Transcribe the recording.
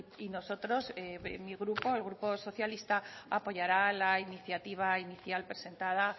y nosotros mi grupo el grupo socialista apoyará la iniciativa inicial presentada